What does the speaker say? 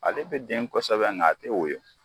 Ale bɛ den kosɛbɛ nka a tɛ woyo